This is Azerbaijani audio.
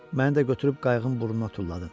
Məni də götürüb qayığın burnuna tulladın.